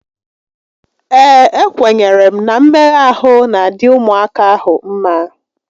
Ee, ekwenyere m na mmegha ahụ n'adị ụmụaka ahụ mmá